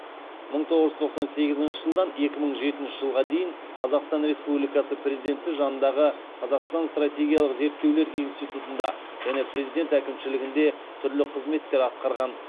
мың тоғыз жүз тоқсан сегізінші жылдан екі мың жетінші жылға дейін қазақстан республикасы президенті жанындағы қазақстан стратегиялық зерттеулер институтында және президент әкімшілігінде түрлі қызметтер атқарған